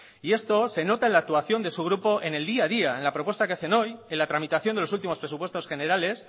y esto se nota en la actuación de su grupo en el día a día en la propuesta que hacen hoy en la tramitación de los presupuestos generales